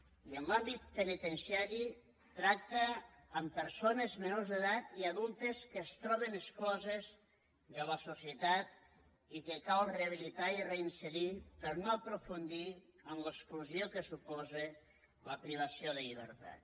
i en l’àmbit penitenciari tracta amb persones menors d’edat i adultes que es troben excloses de la societat i que cal rehabilitar i reinserir per no aprofundir en l’exclusió que suposa la privació de llibertat